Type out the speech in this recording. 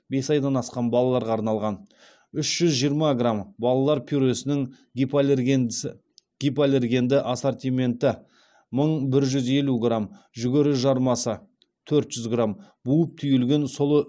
үш жүз жиырма грамм балалар пюресінің гипоаллергендісі гипоаллергенді ассортименті мың бір жүз елу грамм жүгері жармасы төрт жүз грамм буып түйілген сұлы